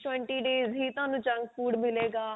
days twenty days ਹੀ ਤੁਹਾਨੂੰ zunk food ਮਿਲੇ ਗਾ